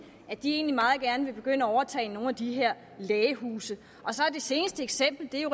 at de egentlig meget gerne vil begynde at overtage nogle af de her lægehuse det seneste eksempel er jo